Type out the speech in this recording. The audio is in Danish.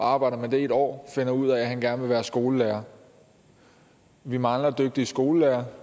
arbejder med det i et år finder ud af at han gerne vil være skolelærer vi mangler dygtige skolelærere